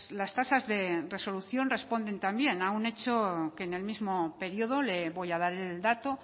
las tasas de resolución responden también a un hecho que en el mismo periodo le voy a dar el dato